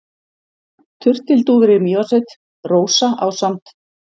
Turtildúfur í Mývatnssveit: Rósa ásamt